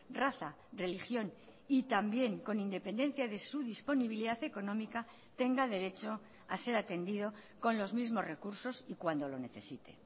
raza religión y también con independencia de su disponibilidad económica tenga derecho a ser atendido con los mismos recursos y cuando lo necesite